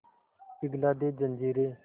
पिघला दे जंजीरें